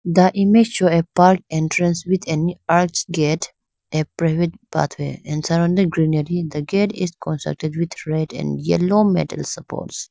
the image show a park entrance with any arch gate a private pathway and surrounded greenary the gate is concentrated with red and yellow metal supports.